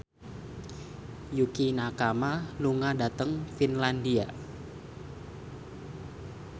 Yukie Nakama lunga dhateng Finlandia